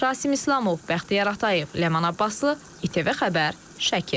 Rasim İslamov, Bəxtiyar Atayev, Ləman Abbaslı, ATV xəbər, Şəki.